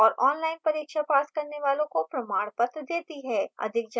online परीक्षा पास करने वालों को प्रमाण पत्र देती है